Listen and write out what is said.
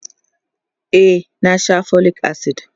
e na Sha folic acid